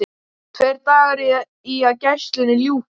Tveir dagar í að gæslunni ljúki.